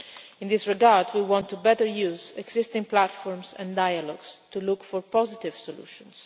In this regard we want to make better use of existing platforms and dialogues to look for positive solutions.